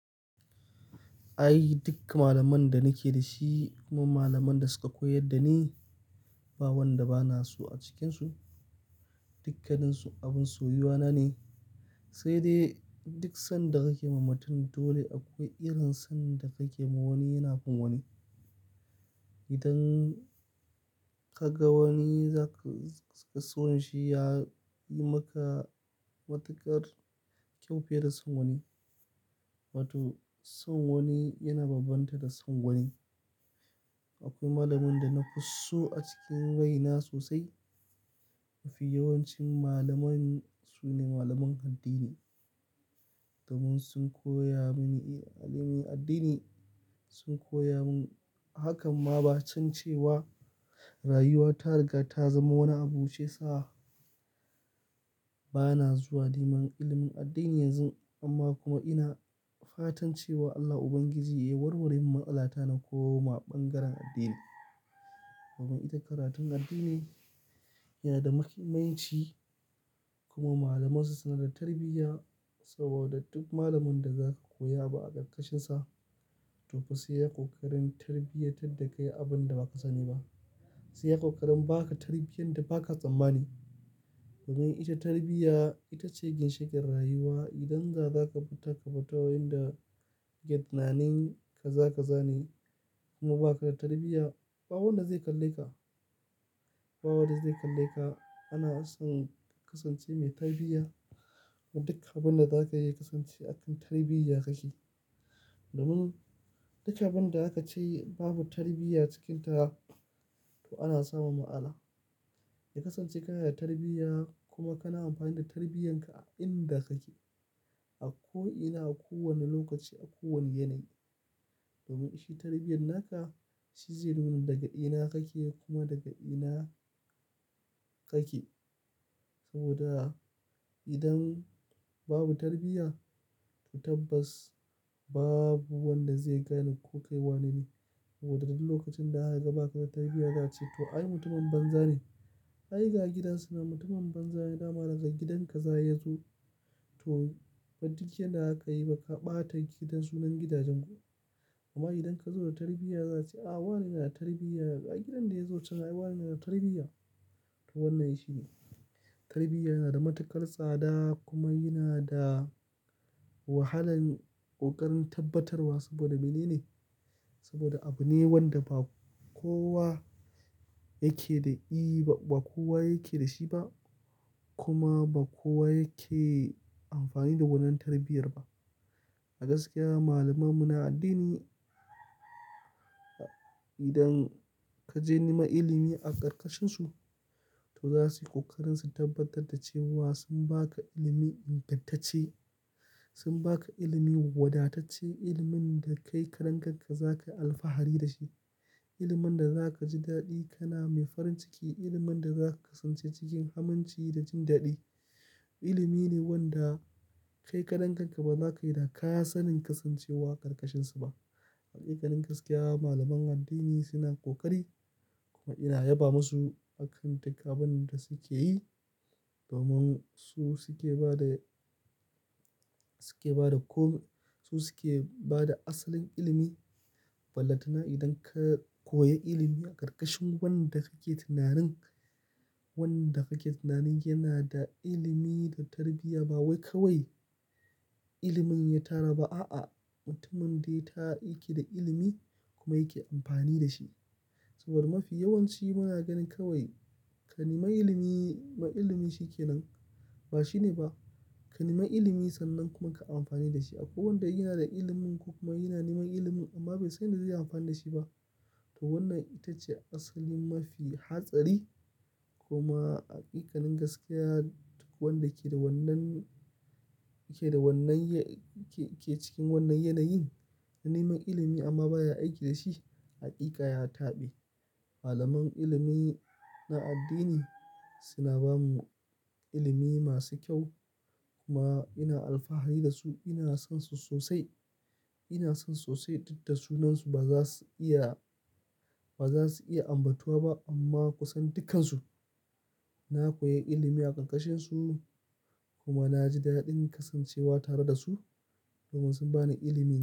Ai duk malaman da nake da shi kuma malaman da suka koyar da ni, ba wanda bana so a cikinsu. Dukkaninsu abin soyuwa na ne. Sai dai duk son da kake ma mutum dole akwai irin son da kake ma wani yana fin wani. Idan ka ga wani na ka son shi ya yi maka matuƙar kyau fiye da son wani. Wato son wani yana bambanta da son wani. Akwai malamin da na fi so a cikin raina sosai. Mafi yawancin malaman su ne malaman addini. Domin sun koya mini ilimin addini, sun koya min hakan ma ba can cewa rayuwa ta riga ta zama wani abu sai sa bana zuwa neman ilimin addini yanzu amma kuma ina fatan cewa Allah ubangiji ya warware min matsala ta nan ko ma ɓangaren addini. Domin ita karatun addini na da muhimmanci kuma malamansu suna bada tarbiyya. Saboda duk malamin da zaka koyi abu a ƙarƙashinsa to fa sai ya ƙoƙarin tarbiyantar da kai abin da ba ka sani ba. Sai ya ƙoƙarin baka tarbiyyar da ba ka tsammani. Domin ita tarbiyya ita ce ginshiƙin rayuwa. Idan ba za ka bi ta, kabtattawar da ke tunanin ka za ka zane kuma ba ka da tarbiyya, ba wanda zai kalle ka. Ba wanda zai kalle ka. Ana son ka kasance mai tarbiyya. A duk abin da zaka yi ya kasance a kan tarbiyya kake. Domin dukkan abin da aka ce babu tarbiyya cikinta to ana samun matsala. Ya kasance kana da tarbiyya kuma kana amfani da tarbiyyar ka a inda kake, a ko ina, a kowane lokaci, a kowane yanayi. Domin shi tarbiyyan naka, shi zai nuna daga ina kake kuma daga ina kake. Saboda idan babu tarbiyya to tabbas babu wanda zai gane ko kai wanene. Saboda duk lokacin da aka ga ba ka da tarbiyya za su ce to ai mutumin banza ne. Ai ga gidansu nan mutumin banza yana ma rasa gidan ka za ya zo. To ban dukyar da aka yi ba ka ɓata gidan sunan gidajen ku. Amma idan ka zo da tarbiyya za a ce a wane yana da tarbiyya, a gidan da ya zo can ai wane yana da tarbiyya. To wannan shi ne. Tarbiyya yana da matuƙar tsada kuma yana da wahalan ƙoƙarin tabbatarwa. Saboda mene ne? Saboda abu ne wanda ba kowa yake da i, ba kowa yake da shi ba kuma ba kowa yake amfani da wannan tarbiyyar ba. A gaskiya malaman mu na addini idan ka je neman ilimi a ƙarƙashin su to za su yi ƙoƙarin su tabbatar da cewa sun baka ilimi ingantacce, sun baka ilimi wadatacce, ilimin da kai karan kanka zaka yi alfahari da shi. Ilimin da zaka ji daɗi kana mai farin ciki ilimin da zaka tsinci kanka cikin aminci da jin daɗi. Ilimi ne wanda kai karan ka ba za ka yi dakka sanin kasancewa ƙarƙashin su ba. Haƙiƙanin gaskiya malaman addini suna ƙoƙari kuma ina yaba masu a kan dukkan abin da suke yi. Domin su suke ba da, su suke ba da ko, su suke ba da asalin ilimi. Ballatana idan ka koyi ilimi a ƙarƙashin wanda kake tunanin, wanda kake tunanin yana da ilimi da tarbiyya ba wai kawai ilimin ya tara ba a'a. Mutumin dai ta yake da ilimi kuma yake amfani da shi. Saboda mafi yawanci muna ganin kawai ka nema ilimi ma ilimi shi ke nan. Ba shine ba. Ka nema ilimi sannan kuma ka amfani da shi. Akwai wanda yana da ilimin ko kuma yana neman ilimin amma bai san yadda zai yi amfani da shi ba. To wannan ita ce asalin mafi hatsari kuma haƙiƙanin gaskiya duk wanda ke da wannan, yake da wannan ke cikin wannan yanayin yana neman ilimi amma baya aiki da shi, haƙiƙa ya taɓe. Malaman ilimi na addini suna ba mu ilimi masu kyau kuma ina alfahari da su. Ina son su sosai. Ina son sosai duk da sunansu ba za su iya, ba za su iya ambatuwa ba amma kusan dukansu na koyi ilimi a ƙarƙashin su kuma na ji daɗin kasancewa tare da su domin sun ba ni ilimi.